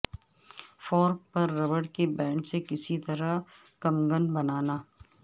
fork پر rubber کے band سے کس طرح کمگن بنانا